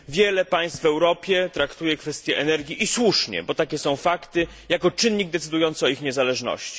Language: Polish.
Wiele państw w Europie traktuje kwestię energii, i słusznie bo takie są fakty jako czynnik decydujący o ich niezależności.